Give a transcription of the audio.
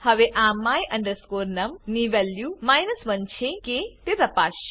હવે આ my num ની વેલ્યુ 1 છે કે તે તપાસસે